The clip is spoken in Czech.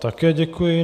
Také děkuji.